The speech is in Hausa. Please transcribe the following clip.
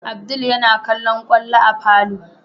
Abdul yana kallon kwallo a falo